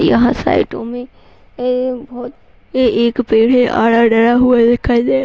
यहाँ साइडो में बहुत एक पेड़ है। --